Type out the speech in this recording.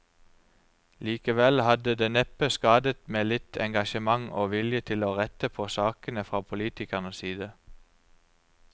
Likevel hadde det neppe skadet med litt engasjement og vilje til å rette på sakene fra politikernes side.